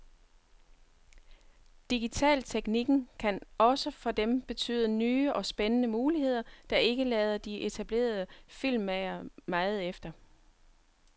Digitalteknikken kan også for dem betyde nye og spændende muligheder, der ikke lader de etablerede filmmagere meget efter.